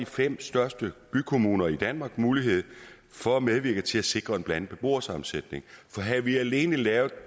fem største bykommuner i danmark mulighed for at medvirke til at sikre en blandet beboersammensætning for havde vi alene lavet